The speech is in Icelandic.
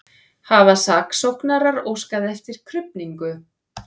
Hafa saksóknarar óskað eftir krufningu